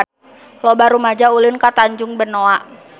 Loba rumaja ulin ka Tanjung Benoa